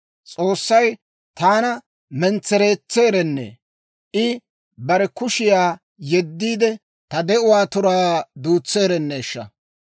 S'oossay taana mentsereetseerennee! I bare kushiyaa yeddiide, ta de'uwaa turaa duutseerenneeshsha!